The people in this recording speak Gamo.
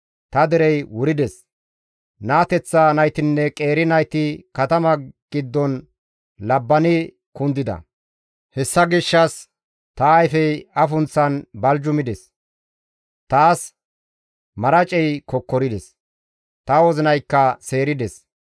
Ta derey wurides; naateththa naytinne qeeri nayti katama giddon labbani kundida. Hessa gishshas ta ayfey afunththan baljumides; taas maracey kokkorides; ta wozinaykka seerides;